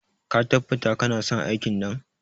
Ka tabbatar kanason aikin nan?